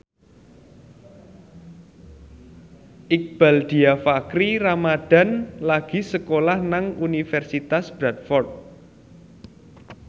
Iqbaal Dhiafakhri Ramadhan lagi sekolah nang Universitas Bradford